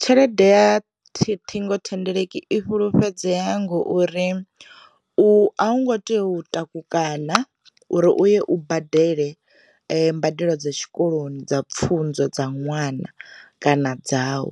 Tshelede ya thi ṱhingo thendeleki i fhulufhedzea ngori u a hu ngo tea u taku kana uri u ye badele mbadelo dza tshikoloni dza pfhunzo dza ṅwana kana dza u,